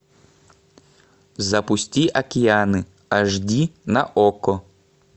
запусти океаны аш ди на окко